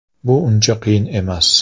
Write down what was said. Bu uncha qiyin emas”.